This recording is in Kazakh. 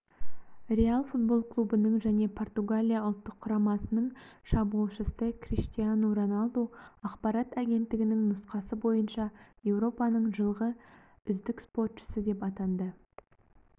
реал футбол клубының және португалия ұлттық құрамасының шабуылшысы криштиану роналду ақпарат агенттігінің нұсқасы бойынша еуропаның жылғы үздік спортшысы деп атанды